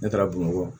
Ne taara bamakɔ